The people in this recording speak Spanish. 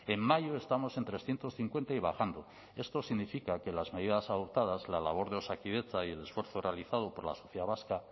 en mayo estamos en trescientos cincuenta y bajando esto significa que las medidas adoptadas la labor de osakidetza y el esfuerzo realizado por la sociedad vasca